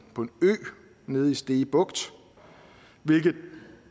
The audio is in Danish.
ø nede i stege bugt hvilket